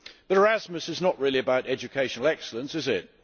Erasmus is not really about educational excellence is it?